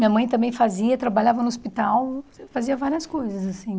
Minha mãe também fazia, trabalhava no hospital, fazia várias coisas, assim.